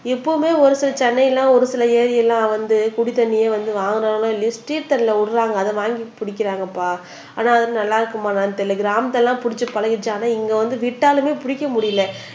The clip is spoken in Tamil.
இப்பவுமே ஒரு சில சென்னையில் ஒரு சில ஏரி எல்லாம் வந்து குடி தண்ணியே வந்து வாங்குறார்களோ இல்லையோ ஸ்ட்ரீட் தண்ணில் விடுறாங்க அதை வாங்கி குடிக்கிறாங்கப்பா ஆனா அது நல்லா இருக்குமா என்னன்னு தெரியல கிராமத்தில் எல்லாம் புடிச்சு பழகிருச்சு இங்க வந்து விட்டாலுமே பிடிக்க முடியல